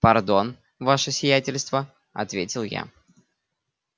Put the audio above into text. пардон ваше сиятельство ответил я